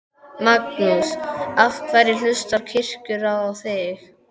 Magnús: Af hverju hlustar Kirkjuráð á þig?